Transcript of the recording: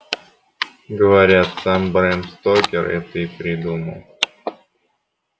говорят сам брэм стокер это и придумал